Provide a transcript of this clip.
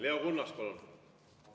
Leo Kunnas, palun!